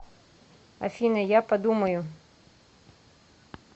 афина я подумаю